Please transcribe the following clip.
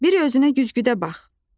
Bir özünə güzgüdə bax.